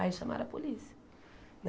Aí chamaram a polícia.